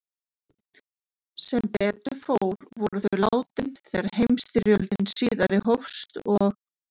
Sem betur fór voru þau látin þegar heimsstyrjöldin síðari hófst og